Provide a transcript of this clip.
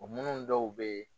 O nanan dɔw bɛ yen.